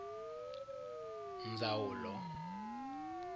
ndzawulo